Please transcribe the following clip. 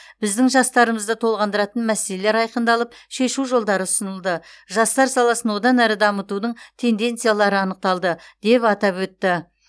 біздің жастарымызды толғандыратын мәселелер айқындалып шешу жолдары ұсынылды жастар саласын одан әрі дамытудың тенденциялары анықталды деп атап өтті